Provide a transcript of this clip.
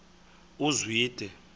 uzwide